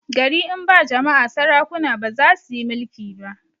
gari in ba jama'a sarakuna bazasuyi mulki ba